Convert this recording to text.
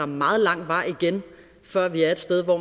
meget lang vej igen før vi er et sted hvor